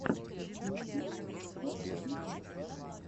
мультфильм чопы ютюб